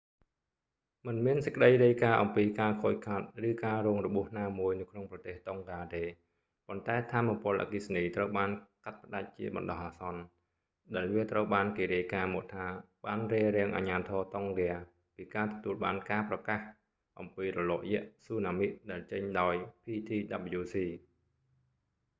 មិនមានសេចក្តីរាយការណ៍អំពីការខូចខាត ឬការរងរបួសណាមួយនៅក្នុងប្រទេស តុងហ្កា ទេ ប៉ុន្តែថាមពលអគ្គីសនីត្រូវបានកាត់ផ្តាច់ជាបណ្តោះអាសន្ន ដែលវាត្រូវបានគេរាយការណ៍មកថា បានរារាំងអាជ្ញាធរ តុងហ្គា ពីការទទួលបានការប្រកាសអំពីរលកយក្សស៊ូណាមិ ដែលចេញដោយ ptwc